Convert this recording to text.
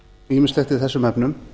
ýmislegt í þessum efnum